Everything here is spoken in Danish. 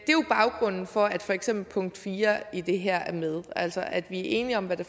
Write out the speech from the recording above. det er jo baggrunden for at for eksempel punkt fire i det her er med altså at vi er enige om hvad det